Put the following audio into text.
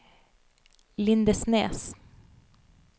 Lindesnes